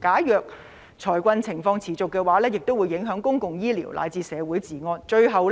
假如財困情況持續，公共醫療乃至社會治安亦會受到影響，最後